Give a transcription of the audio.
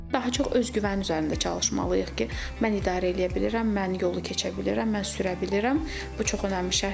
Daha çox özgüvən üzərində çalışmalıyıq ki, mən idarə eləyə bilirəm, mən yolu keçə bilirəm, mən sürə bilirəm, bu çox önəmli şərtdir.